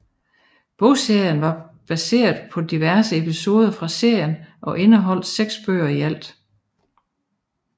Bogserien var baseret på diverse episoder fra serien og indeholdt 6 bøger i alt